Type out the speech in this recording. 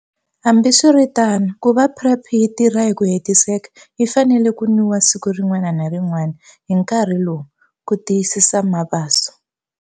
Hambiswiritano, ku va PrEP yi tirha hi ku hetiseka, yi fanele ku nwiwa siku rin'wana na rin'wana, hi nkarhi lowu, ku tiyisisa Mabaso.